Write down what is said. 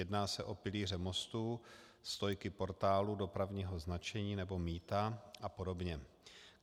Jedná se o pilíře mostů, stojky portálů dopravního značení nebo mýta a podobně.